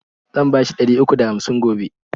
Zan bashi ɗari uku da hamsin gobe.